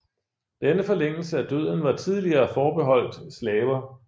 Denne forlængelse af døden var tidligere forbeholdt slaver